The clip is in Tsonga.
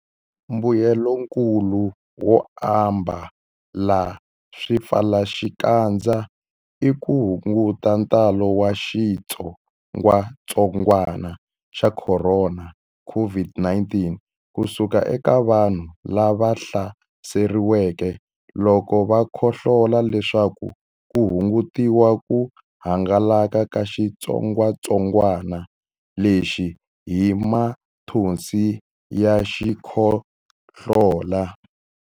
Mbuyelonkulu wo ambala swipfalaxikandza i ku hunguta ntalo wa xitsongwantsongwana xa Khorona, COVID-19, ku suka eka vanhu lava hlaseriweke loko va khohlola leswaku ku hungutiwa ku hangalaka ka xitsongwantsongwana lexi hi mathonsi ya xikhohlola.